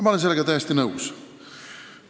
Ma olen sellega täiesti nõus.